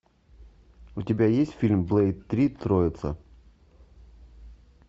у тебя есть фильм блэйд три троица